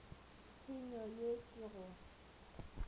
tsenyo ye ke go go